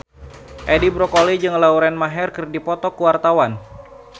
Edi Brokoli jeung Lauren Maher keur dipoto ku wartawan